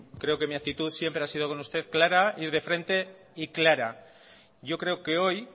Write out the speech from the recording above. creo que mi actitud siempre ha sido con usted clara ir de frente y clara yo creo que hoy